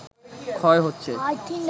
ক্ষয় হচ্ছে